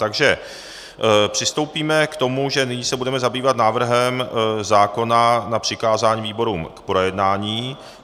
Takže přistoupíme k tomu, že nyní se budeme zabývat návrhem zákona na přikázání výborům k projednání.